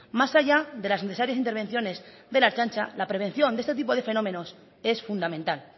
más allá de las necesarias intervenciones de la ertzaintza la prevención de este tipo de fenómenos es fundamental